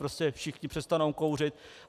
Prostě všichni přestanou kouřit.